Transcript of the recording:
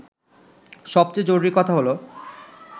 সবচেয়ে জরুরি কথা হলো